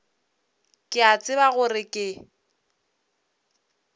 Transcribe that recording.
ke a tseba gore ke